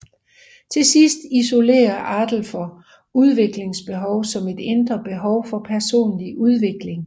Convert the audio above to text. Til sidst isolerer Alderfer udviklingsbehov som et indre behov for personlig udvikling